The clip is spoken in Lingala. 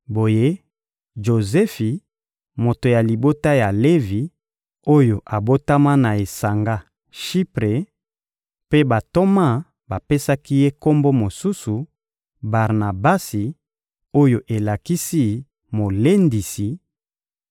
Boye, Jozefi, moto ya libota ya Levi, oyo abotama na esanga Shipre mpe bantoma bapesaki ye kombo mosusu, Barnabasi oyo elakisi «molendisi,»